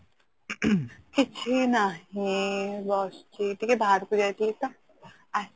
କିଛି ନାହିଁ ବସିଛି ଟିକେ ବାହାରକୁ ଯାଇଥିଲି ତ